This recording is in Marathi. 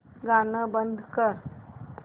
गाणं बंद कर